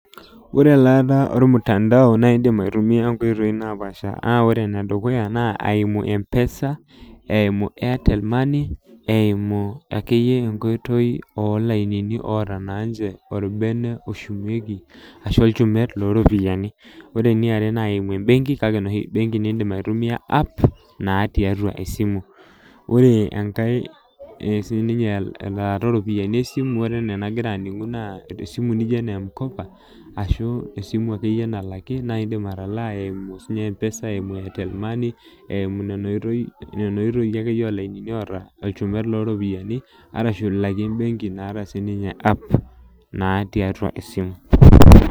oree elaata olmutandao naa indim aitumia inkoitoi napaasha naa ore ene dukuya naa aimu mpesa eimu airtel money eimuu ake iyie enkoitoi oo lainini oota naa ninche olbene oshumieki ashuu olchumet loo ropiyiani ore niare naa aimu embenki kake enoshi benki niindim aitumia app naa tiatua esimu ore enkai sininye elaata oo ropiyiani ee simu oreee enaa enagira aningu naa esimu najio ena emkopa ashuu esimu ake iyie nalaki naa indiim atalaa eimu mpesa eimu airtel money eimu nana oitoyi ake iyie oo lainini oata enchumet leoo ropiyiani ashu aimu embenki naata sinimye app naa tiatua esimu .